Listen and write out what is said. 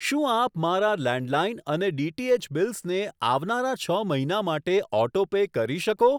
શું આપ મારા લેન્ડલાઈન અને ડીટીએચ બિલ્સને આવનારા છ મહિના માટે ઓટો પે કરી શકો?